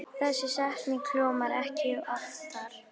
Þessi setning hljómar ekki oftar.